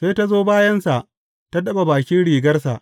Sai ta zo ta bayansa, ta taɓa bakin rigarsa.